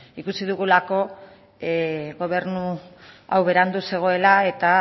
ikusi dugulako gobernu hau berandu zegoela eta